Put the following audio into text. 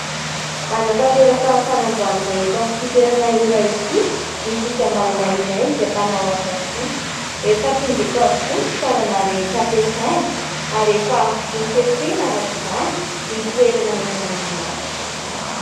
Hanantanteraka fanamboarana eto amin'ity toerana iray ity ny fikambanana iray izay mpanao asa soa. Efa tonga eto avokoa ny fitaovana rehetra ampiasaina ary efa nofefena arak'izany ny toerana hanaovana ny asa.